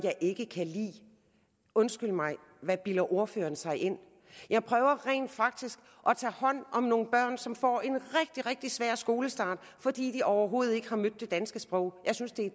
jeg ikke kan lide undskyld mig hvad bilder ordføreren sig ind jeg prøver rent faktisk at tage hånd om nogle børn som får en rigtig rigtig svær skolestart fordi de overhovedet ikke har mødt det danske sprog jeg synes det er